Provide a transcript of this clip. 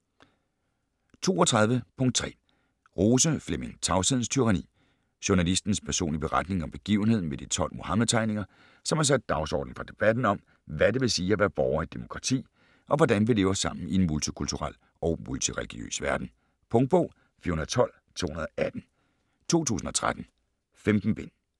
32.3 Rose, Flemming: Tavshedens tyranni Journalistens personlige beretning om begivenheden med de 12 Muhammed-tegninger, som har sat dagsordenen for debatten om, hvad det vil sige at være borger i et demokrati, og hvordan vi lever sammen i en multikulturel og multireligiøs verden. Punktbog 412218 2013. 15 bind.